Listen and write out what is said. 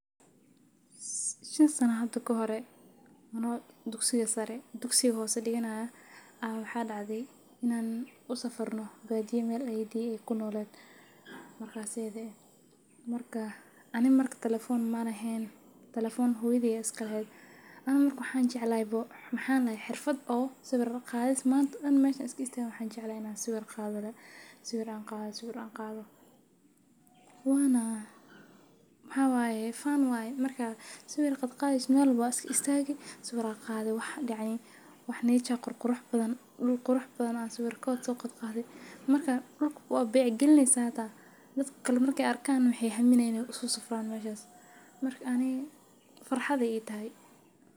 Shan sana hada kahore aniga oo dugsiga hose diganaya aya waxaa dacde inan usafarno badiya meel ayey dey ee kunoleed markas ida eh aniga markas talefon malehen talefon hooyadey aya iska laheed aniga maxaa lahay xirfaad sawir qadis manta dan mesha an istagawa ina sawir qado sawir qado wana marka sawir qadeyso fan waye wana waa dacay dul qurux badan ayan sawir kodha soqadhe marka dulka waa bec galineysa dadka kale hataa marke arkan maaminayan in ee uso saran meshas maraka aniga farxad ayey itahay.